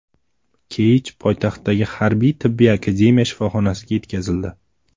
Keyj poytaxtdagi Harbiy-tibbiy akademiya shifoxonasiga yetkazildi.